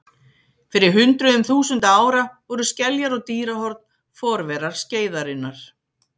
Fyrir hundruðum þúsunda ára voru skeljar og dýrahorn forverar skeiðarinnar.